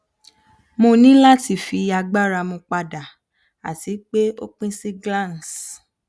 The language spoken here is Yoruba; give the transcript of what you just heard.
mo ni lati fi agbara mu pada ati pe o pin si glans